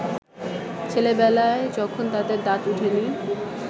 ছেলেবেলায় যখন তাদের দাঁত ওঠেনি